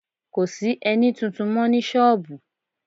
Kò sí ẹní tuntun mọ́ ní sọ́ọ̀bù